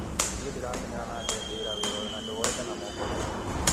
Nĩ ndĩrakenera na ngetĩĩra wĩra ũyũ na ndĩwoete na moko meerĩ.